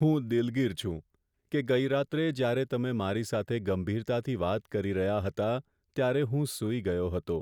હું દિલગીર છું કે ગઈ રાત્રે જ્યારે તમે મારી સાથે ગંભીરતાથી વાત કરી રહ્યા હતા, ત્યારે હું સૂઈ ગયો હતો.